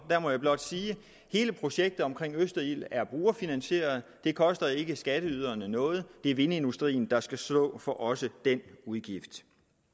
der må jeg blot sige at hele projektet omkring østerild er brugerfinansieret det koster ikke skatteyderne noget det er vindindustrien der skal stå for også den udgift